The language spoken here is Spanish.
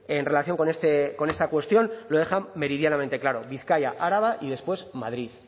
en relación con esta cuestión lo dejan meridianamente claro bizkaia araba y después madrid